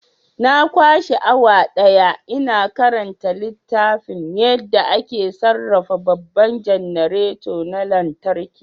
Na kwashe awa daya ina karanta littafin yadda ake sarrafa babban janareta na lantarki.